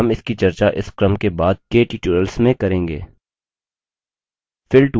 हम इसकी चर्चा इस क्रम के बाद के टूयटोरियल्स में करेंगे